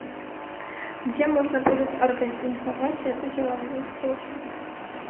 где можно будет организовать эту деловую встречу